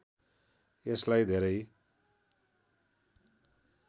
यसलाई धेरै